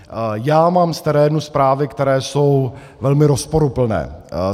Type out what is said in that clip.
Já mám z terénu zprávy, které jsou velmi rozporuplné.